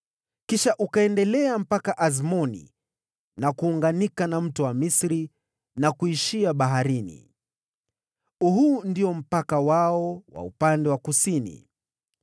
Kisha ukaendelea mpaka Azmoni na kuunganika na Kijito cha Misri, na kuishia baharini. Huu ndio mpaka wao wa upande wa kusini.